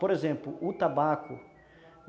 Por exemplo, o tabaco.